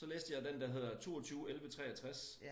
Så læste jeg den der hedder 22.11.63